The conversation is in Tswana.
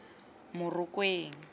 morokweng